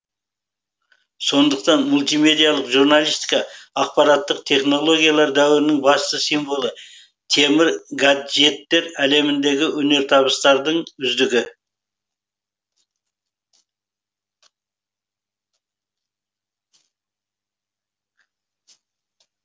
сондықтан мультимедиялық журналистика ақпараттық технологиялар дәуірінің басты символы темір гаджеттер әлеміндегі өнертабыстардың үздігі